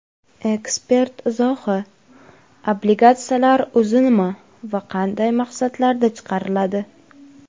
Ekspert izohi: Obligatsiyalar o‘zi nima va qanday maqsadlarda chiqariladi?.